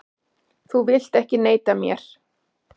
Þú vilt ekki neita mér.